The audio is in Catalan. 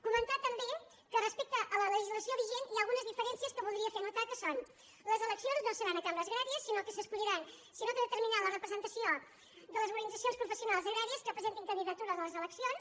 comentar també que respecte a la legislació vigent hi ha algunes diferències que voldria fer notar que són les eleccions no seran a cambres agràries sinó que de·terminaran la representació de les organitzacions pro·fessionals agràries que presentin candidatures a les eleccions